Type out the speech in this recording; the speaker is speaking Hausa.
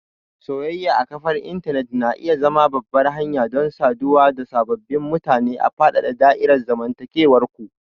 Soyayya a kafar intanet na iya zama babbar hanya don saduwa da sababbin mutane da faɗaɗa da'irar zamantakewar ku.